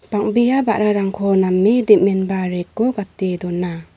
bang·bea ba·rarangko name dem·enba rack-o gate dona.